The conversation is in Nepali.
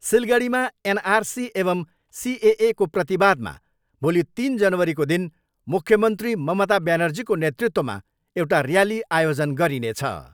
सिलगढीमा एनआरसी एवम् सिएएको प्रतिवादमा भोलि तिन जनवरीको दिन मुख्यमन्त्री ममता ब्यानर्जीको नेतृत्वमा एउटा ऱ्याली आयोजन गरिनेछ।